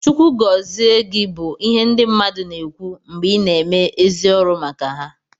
Chukwu gọzi gị bụ ihe ndị mmadụ na-ekwu mgbe ị na-eme ezi ọrụ maka ha